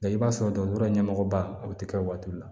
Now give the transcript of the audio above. i b'a sɔrɔ dɔgɔtɔrɔ ɲɛmɔgɔba o tɛ kɛ waati la